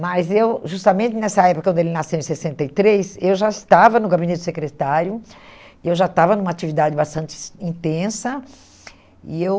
Mas eu, justamente nessa época, quando ele nasceu, em sessenta e três, eu já estava no gabinete secretário, eu já estava numa atividade bastantes intensa, e eu...